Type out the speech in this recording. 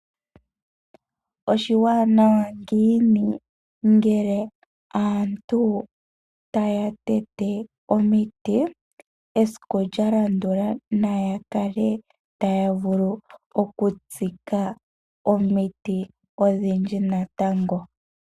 Oshiwanawa ngiini ngele aantu taya tete omiti, esiku lyalandula naya kale taya vulu okutsika omiti odhindji natango.